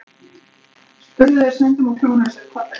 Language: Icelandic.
spurðu þeir stundum og klóruðu sér í kollinum.